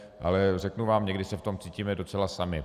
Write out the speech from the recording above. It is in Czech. Ale řeknu vám, někdy se v tom cítíme docela sami.